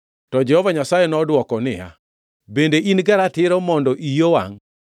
To Jehova Nyasaye nodwoko niya, “Bende in gi ratiro mondo iyi owangʼ?”